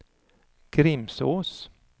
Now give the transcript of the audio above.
Grimsås